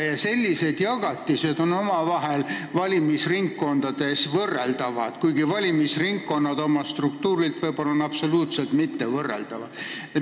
Ja sellised jagatised on omavahel valimisringkonniti võrreldavad, kuigi valimisringkonnad võivad olla oma struktuurilt täiesti võrreldamatud.